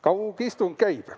Kaugistung käib.